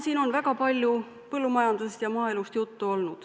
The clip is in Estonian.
Siin on väga palju olnud juttu põllumajandusest ja maaelust.